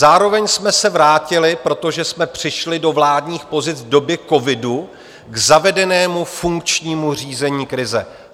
Zároveň jsme se vrátili, protože jsme přišli do vládních pozic v době covidu, k zavedenému funkčnímu řízení krize.